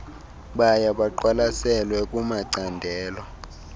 baye baqwalaselwe kumacandelo